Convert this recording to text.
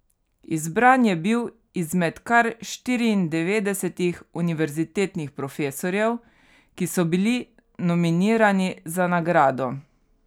Izbran je bil izmed kar štiriindevetdesetih univerzitetnih profesorjev, ki so bili nominirani za nagrado.